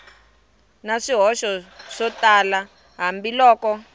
na swihoxo swo tala hambiloko